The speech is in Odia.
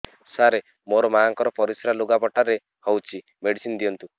ସାର ମୋର ମାଆଙ୍କର ପରିସ୍ରା ଲୁଗାପଟା ରେ ହଉଚି ମେଡିସିନ ଦିଅନ୍ତୁ